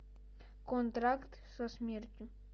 контракт со смертью